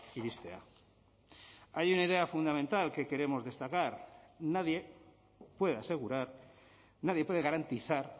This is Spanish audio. iristea hay una idea fundamental que queremos destacar nadie puede asegurar nadie puede garantizar